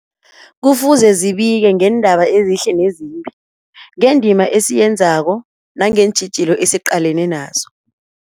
Kufuze zibike ngeendaba ezihle nezimbi, ngendima esiyenzako nangeentjhijilo esiqalene nazo.